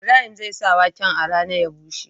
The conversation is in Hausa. Ibrahim zai sa waken a rana ya bushe